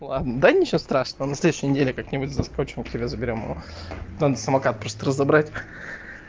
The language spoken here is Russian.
ладно да ничего страшного на следующей неделе как-нибудь заскочим к тебе заберём его там самокат просто разобрать